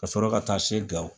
Ka sɔrɔ ka taa se Gawo